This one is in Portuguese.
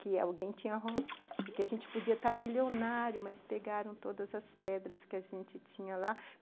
Que alguém tinha... Que a gente podia estar milionário, mas pegaram todas as pedras que a gente tinha lá.